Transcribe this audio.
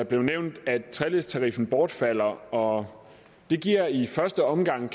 blev nævnt at treledstariffen bortfalder og det giver i første omgang